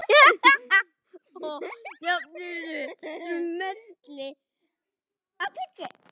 Hann hafði ort það.